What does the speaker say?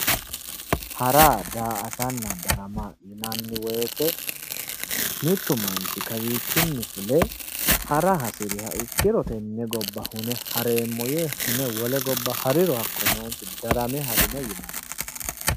Hara daa"atanna darama yinanni woyiite mittu manchi kawiichinni fule hara hasiriha ikkiro tenne gobba hune hareemmo yee wole gobba agure hariro darame harino yinanni